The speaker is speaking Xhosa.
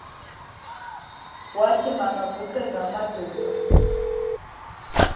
wathi makaguqe ngamadolo